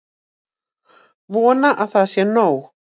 Vona að það sé nóg.